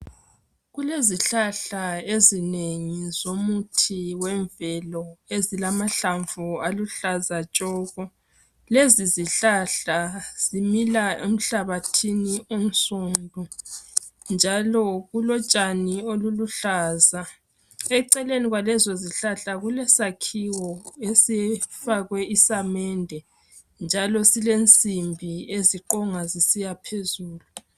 Kulezihlahla ezinengi zomuthi wemvelo ezilamahlamvu aluhlaza tshoko. Lezi zihlahla zimila emhlabathini onsundu njalo ulotshani obuluhlaza. Eceleni kwalezo izihlahla kulesakhiwo esifakwe isamende njalo kulensimbi eziqonga zisiya phezulu.